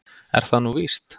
Er það nú víst?